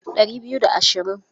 Ɗari biyu da ashirin.